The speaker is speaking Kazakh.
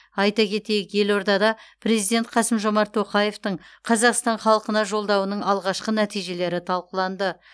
айта кетейік елордада президент қасым жомарт тоқаевтың қазақстан халқына жолдауының алғашқы нәтижелері талқыланды